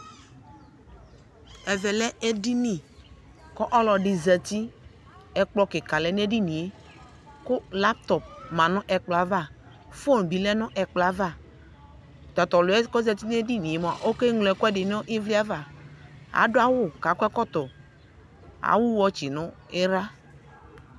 Ɛvɛ lɛ edini, kʋ ɔlɔdɩ zati Ɛkplɔ kɩka lɛ n'edinie, kʋ laŋtɔp ma nʋ ɛkplɔa va; phone bɩ lɛ nʋ ɛkplɔa va Tatɔlʋɛ k'ozati n'edinie mʋa, okeŋlo ɛkʋɛdɩ n'ɩvlɩava ; adʋ awʋ k'akɔ ɛkɔtɔ, ewu wɔtsɩ nʋ ɩɣla